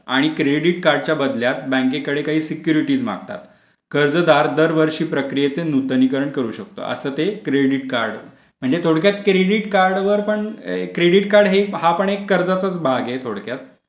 आणि क्रेडिट कार्डच्या बदल्यात बँकेकडे काही सिक्युरिटीज मागतात कर्जदार दरवर्षी प्रक्रियेचे नूतनीकरण करू शकतो असं ते क्रेडिट कार्ड म्हणजे थोडक्यात क्रेडिट कार्ड वर पण क्रेडिट कार्ड एक कर्जाचाच भाग आहे थोडक्यात.